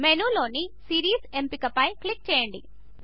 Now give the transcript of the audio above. మెనూలోని series ఎంపిక పై click చేయండి